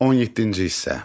17-ci hissə.